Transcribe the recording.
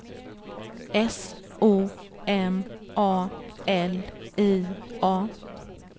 S O M A L I A